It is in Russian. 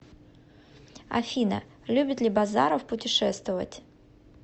афина любит ли базаров путешествовать